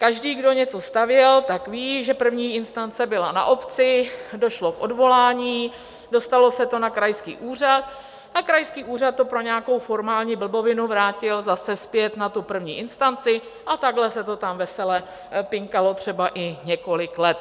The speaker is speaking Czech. Každý, kdo něco stavěl, tak ví, že první instance byla na obci, došlo k odvolání, dostalo se to na krajský úřad a krajský úřad to pro nějakou formální blbovinu vrátil zase zpět na tu první instanci a takhle se to tam vesele pinkalo třeba i několik let.